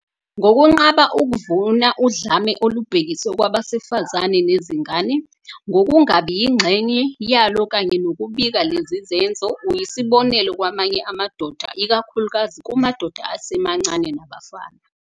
Ngokunqaba ukuvuna udlame olubhekiswe kwabesifazane nezingane, ngokungabi yingxenye yalo kanye nokubika lezi zenzo, uyisibonelo kwamanye amadoda, ikakhulukazi kumadoda asemancane nabafana.